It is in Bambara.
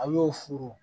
A' y'o furu